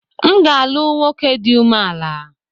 M ga-alu nwoke di ume-ala.